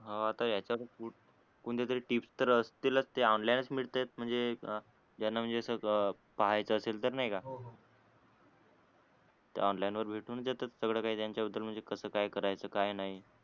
हा आता याच्यातच फूड कोणत्या तरी टुबस तर असतीलच ते ऑनलाईनच मिळतेत म्हणजे ज्यांना म्हणजे असं पाहायच असेल तर नाय का हो हो ते ऑनलाईन वर भेटूनच जात सगळं काय त्याच्या बदल म्हणजे कसा काय करायच काय नाय